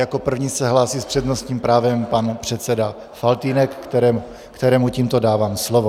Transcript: Jako první se hlásí s přednostním právem pan předseda Faltýnek, kterému tímto dávám slovo.